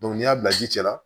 n'i y'a bila ji la